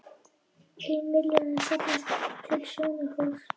Ein milljón safnaðist til Sjónarhóls